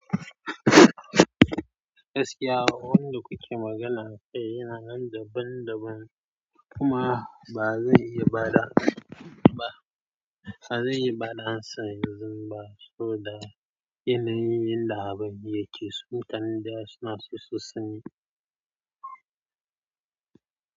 Gaskiya wa wanda kuke magana akai yana nan daban daban kuma ba zan iya ba da, ba, ba zan iya ba da ansa yanzun ba saboda yanayin yanda abin yake, sun tann da suna so su sani.